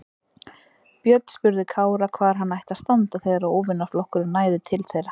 Björn spurði Kára hvar hann ætti að standa þegar óvinaflokkurinn næði til þeirra.